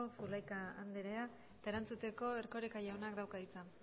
zulaika andrea eta erantzuteko erkoreka jaunak dauka hitza